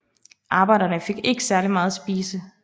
Arbejderne fik ikke særlig meget at spise